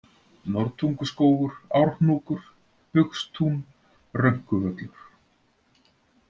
Norðtunguskógur, Árhnúkur, Bugstún, Rönkuvöllur